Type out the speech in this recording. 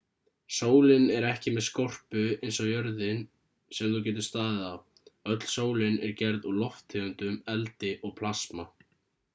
sólin er ekki með skorpu eins og jörðin sem þú getur staðið á öll sólin er gerð úr lofttegundum eldi og plasma